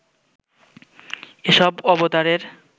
এসব অবতারের